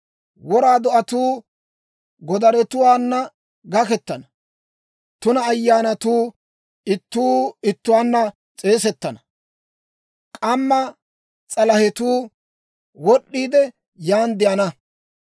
Wora do'atuu godaretuwaana gakettana; tuna ayyaanatuu ittuu ittuwaanna s'eesettana; k'amma s'alahetuu wod'd'iide, yan de'ana.